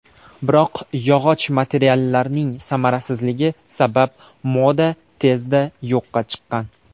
Biroq yog‘och materiallarning samarasizligi sabab moda tezda yo‘qqa chiqqan.